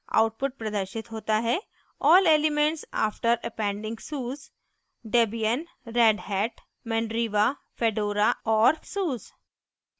output प्रदर्शित होता है all elements after appending suse : debian redhat mandriva fedora और suse